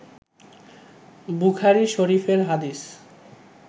বুখারী শরিফের হাদিস